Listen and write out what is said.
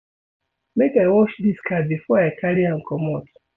Make I wash dis car before I carry am comot.